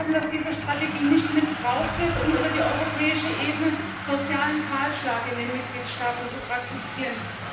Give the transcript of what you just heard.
Wir müssen aufpassen, dass diese Strategie nicht missbraucht wird, um über die europäische Ebene einen sozialen Kahlschlag in den Mitgliedstaaten zu praktizieren.